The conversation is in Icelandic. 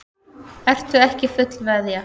Ertu ekki fullveðja?